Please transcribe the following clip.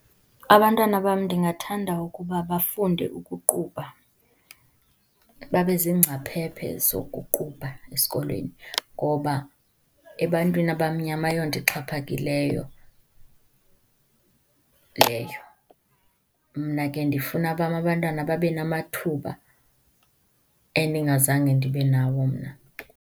Abantwana bam ndingathanda ukuba bafunde ukuqubha, babezingcaphephe zokuqubha esikolweni, ngoba ebantwini abamnyama ayonto exhaphakileyo leyo. Mna ke ndifuna abam abantwana babenamathuba endingazenge ndibenawo mna.